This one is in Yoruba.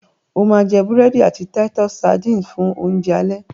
o ma jé burẹdi àti Titus sardines fun Oúnjẹ alẹ́!